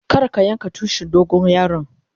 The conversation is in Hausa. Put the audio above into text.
Kar ka yanka Tushin dogon yaron.